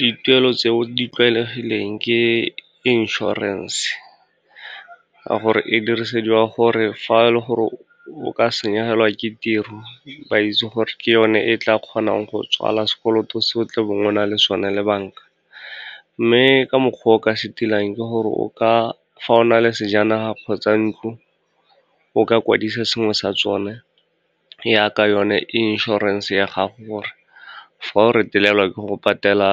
Dituelo tse o di tlwaelegileng ke inšorense, ka gore e dirisediwa gore fa e le gore o ka senyegelwa ke tiro, ba itse gore ke yone e tla kgonang go tswala sekoloto se o tlebeng o na le sone le banka. Mme ka mokgwa o ka se tilang, ke gore fa o na le sejanaga kgotsa ntlo, o ka kwadisa sengwe sa tsone jaaka one inšorense ya gago, gore fa o retelelwa ke go patela